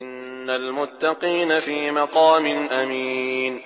إِنَّ الْمُتَّقِينَ فِي مَقَامٍ أَمِينٍ